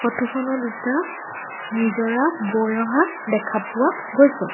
Photo খনত এটা নিজৰা বৈ অহা দেখা পোৱা গৈছে।